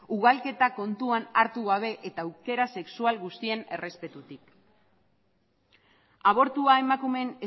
ugalketa kontuan hartu gabe eta aukera sexual guztien errespetutik abortua emakumeen